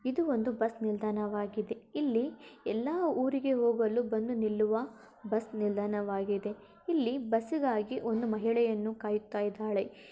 ಇದು ಒಂದು ಬಸ್ ನಿಲ್ದಾಣವಾಗಿದೆ. ಇಲ್ಲಿ ಎಲ್ಲಾ ಊರಿಗೆ ಹೋಗಲು ಬಂದು ನಿಲ್ಲುವ ಬಸ್ ನಿಲ್ದಾಣವಾಗಿದೆ ಇಲ್ಲಿ ಬಸ್ಸಿಗಾಗಿ ಒಂದು ಮಹಿಳೆಯನ್ನು ಕಾಯುತ್ತಿದ್ದಾಳೆ.